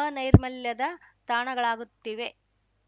ಅನೈರ್ಮಲ್ಯದ ತಾಣಗಳಾಗುತ್ತಿವೆ